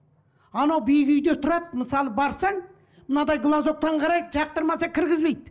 анау биік үйде тұрады мысалы барсаң мынадай глазоктан қарайды жақтырмаса кіргізбейді